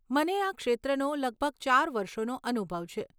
મને આ ક્ષેત્રનો લગભગ ચાર વર્ષોનો અનુભવ છે.